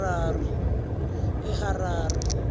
eharare